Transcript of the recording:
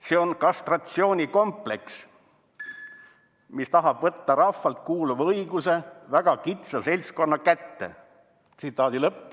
"See on kastratsiooni kompleks, mis tahab võtta rahvale kuuluva õiguse väga kitsa seltskonna kätte.